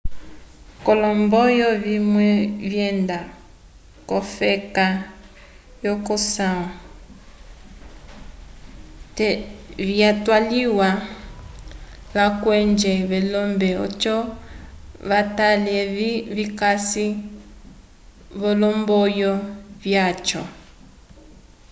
kolomboyo vimwe vyenda kofeka yoko samwa te vyataliwa lakwedje velombe odjo vatale evi vikasi volomboyo vyacho